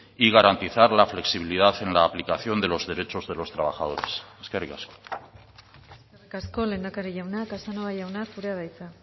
y garantizar la flexibilidad en la aplicación de los derechos de los trabajadores eskerrik asko eskerrik asko lehendakari jauna casanova jauna zurea da hitza